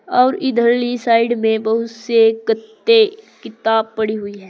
और इधरली साइड में बहुत से गत्ते किताब पड़ी हुई है।